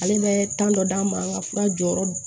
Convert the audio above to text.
Ale bɛ ta dɔ d'a ma an ka fura jɔyɔrɔ